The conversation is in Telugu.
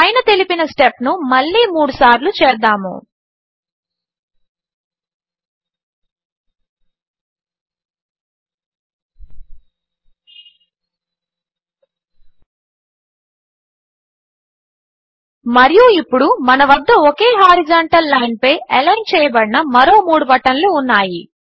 పైన తెలిపిన స్టెప్ను మళ్ళీ మూడుసార్లు చేద్దాము మరియు ఇప్పుడు మన వద్ద ఒకే హారిజాంటల్ లైన్పై అలైన్ చేయబడిన మరో మూడు బటన్లు ఉన్నాయి